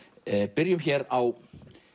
byrjum hér á